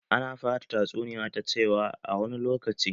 Ana fara tatsuniya ta cewa 'A wani lokaci'